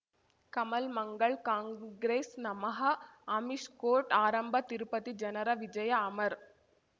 ಕಮಲ್ ಮಂಗಳ್ ಕಾಂಗ್ರೆಸ್ ನಮಃ ಅಮಿಷ್ ಕೋರ್ಟ್ ಆರಂಭ ತಿರುಪತಿ ಜನರ ವಿಜಯ ಅಮರ್